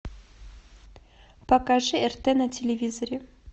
покажи рт на телевизоре